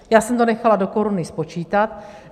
Já jsem to nechala do koruny spočítat.